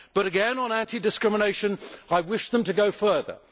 But again, on anti discrimination, I wish them to go further.